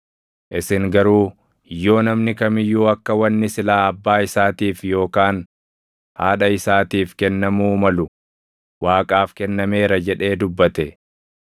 Isin garuu yoo namni kam iyyuu akka wanni silaa abbaa isaatiif yookaan haadha isaatiif kennamuu malu ‘Waaqaaf kennameera’ jedhee dubbate,